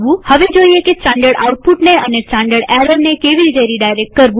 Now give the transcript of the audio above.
હવે જોઈએ કે સ્ટાનડર્ડ આઉટપુટ અને સ્ટાનડર્ડ એરરને કેવી રીતે રીડાયરેક્ટ કરવું